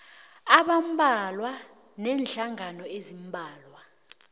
abambalwa neenhlangano eziimbalwa